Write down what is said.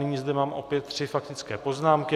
Nyní zde mám opět tři faktické poznámky.